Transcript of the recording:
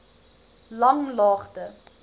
langlaagte